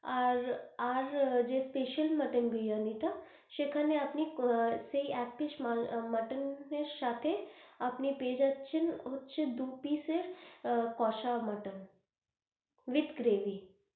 আর আর যে spceial mutton বিরিয়ানিটা সেখানে আপনি সেই এক piece মটন এর সাথে আপনি পেয়ে যাচ্ছেন, হচ্ছে যে দু piece এর কোষা মটন with gravy.